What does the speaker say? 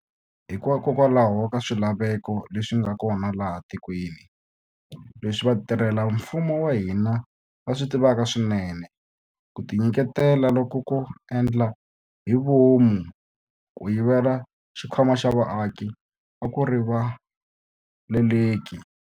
Hikokwalaho ka swilaveko leswi nga kona laha etikweni, leswi vatirhela mfumo va hina va swi tivaka swinene, ku tinyiketela loku ko endla hi vomu ko yivela xikhwama xa vaaki a ku rivaleleki.